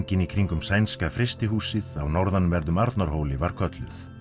í kringum Sænska frystihúsið á norðanverðum Arnarhóli var kölluð